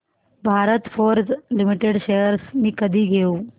Bharat Forge Limited shares मी कधी घेऊ